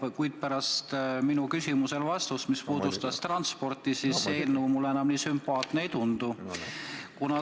Aga kuulnud vastust oma küsimusele, mis puudutas transporti, see eelnõu mulle enam nii sümpaatne ei tundu.